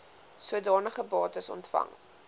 sodanige bates ontvang